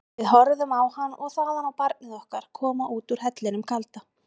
Við horfðum á hann og þaðan á barnið okkar koma út úr hellinum kalda.